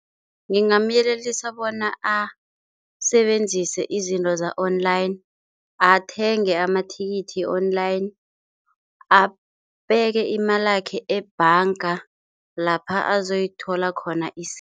Ngingamyelelisa bona asebenzise izinto za-online, athenge ama-ticket online, abeke imalakhe ebhanga lapha azoyithola khona